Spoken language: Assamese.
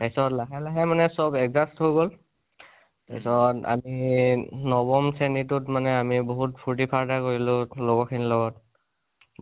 তাৰপিছত লাহে লাহে মানে চব adjust হৈ গল, তাচত আমি নৱম শ্ৰেণী টোত মানে আমি বহুত ফুৰ্তি ফাৰ্তা কৰিলোঁ, লগৰ খিনিৰ লগত।